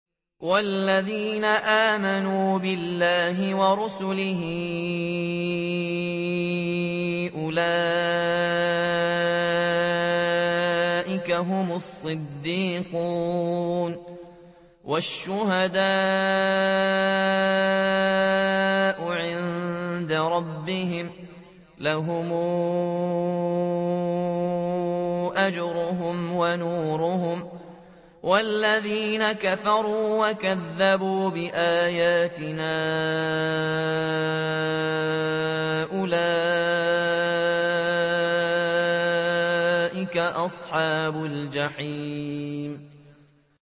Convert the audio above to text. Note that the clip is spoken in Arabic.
وَالَّذِينَ آمَنُوا بِاللَّهِ وَرُسُلِهِ أُولَٰئِكَ هُمُ الصِّدِّيقُونَ ۖ وَالشُّهَدَاءُ عِندَ رَبِّهِمْ لَهُمْ أَجْرُهُمْ وَنُورُهُمْ ۖ وَالَّذِينَ كَفَرُوا وَكَذَّبُوا بِآيَاتِنَا أُولَٰئِكَ أَصْحَابُ الْجَحِيمِ